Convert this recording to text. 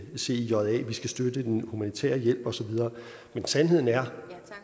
cija vi skal støtte den humanitære hjælp osv men sandheden er